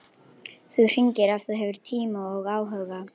Þú hringir ef þú hefur tíma og áhuga.